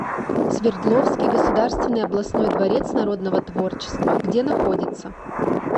свердловский государственный областной дворец народного творчества где находится